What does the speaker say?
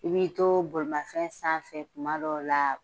I bi to bolimanfɛn sanfɛ kuma dɔw la